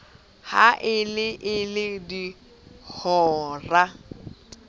ha e le ee dihora